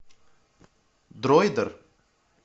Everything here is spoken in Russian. дроидер